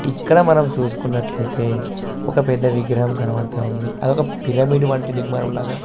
ఇక్కడ మనం చూసుకున్నట్లైతే ఒక పెద్ద విగ్రహం కనబడతావుంది అది ఒక పిరమిడ్ వంటి నిర్మాణం లాగా --